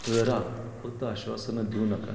करा फक्त आश्वासन देऊ नकात.